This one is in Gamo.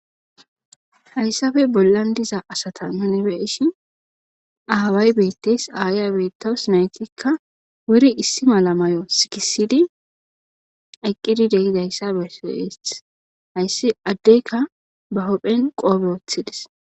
hayssafe bollan diza asata nunibe ishi aaway beettes aaya beetos naytikka wuri issi mala may7o sikisidi aqqidi deizayssa besoeeth hayssi addeyka ba hopphen qoobe woththidis